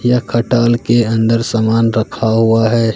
यह खटाल के अंदर समान रखा हुआ है।